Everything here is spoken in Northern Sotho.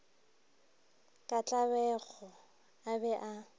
ka tlabego a be a